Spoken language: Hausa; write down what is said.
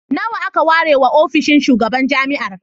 Nawa aka ware wa ofishin shugaban jami'ar?